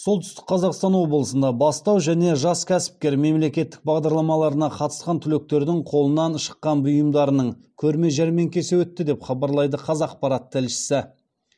солтүстік қазақстан облысында бастау және жас кәсіпкер мемлекеттік бағдарламаларына қатысқан түлектердің қолынан шыққан бұйымдарының көрме жәрмеңкесі өтті деп хабарлайды қазақпарат тілшісі